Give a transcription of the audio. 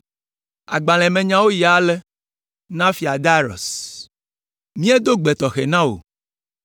Agbalẽa me nyawo yi ale: Na: Fia Darius. Míedo gbe tɔxɛ na wò.